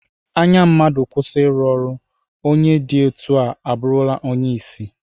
Anya mmadụ kwụsị iru ọrụ, onye dị etu a abụrụla onye isi